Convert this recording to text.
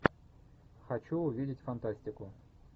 хочу увидеть фантастику